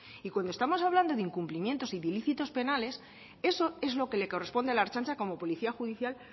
y cuando estamos hablando de incumplimientos y de ilícitos penales eso es lo que les corresponde a la ertzaintza como policía judicial